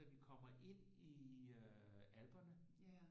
Da vi kommer ind i øh i alperne